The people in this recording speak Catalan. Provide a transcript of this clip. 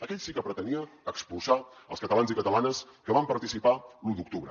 aquell sí que pretenia expulsar els catalans i catalanes que van participar l’u d’octubre